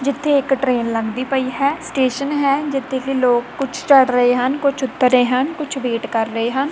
ਜਿੱਥੇ ਇੱਕ ਟਰੇਨ ਲੰਘਦੀ ਪਈ ਹੈ ਸਟੇਸ਼ਨ ਹੈ ਜਿੱਥੇ ਕਿ ਲੋਕ ਕੁਝ ਚੜ ਰਹੇ ਹਨ ਕੁਝ ਉਤਰ ਰਹੇ ਹਨ ਕੁਝ ਵੇਟ ਕਰ ਰਹੇ ਹਨ।